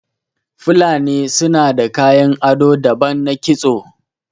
Fulani sunada kayan ado daban na kisto